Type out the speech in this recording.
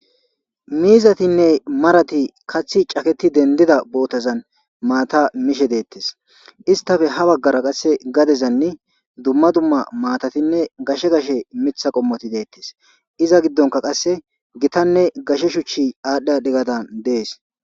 Miizatinne marati kaththi caketi dendida bootazan maata mishe deettes istafe ha baggara qasse gadezanni dumma dumma maatatinne gashe gashe mitha qommoti deettes iza giddonka qasse gitanne gashe shuchchi aadhdhia dhigadan dees.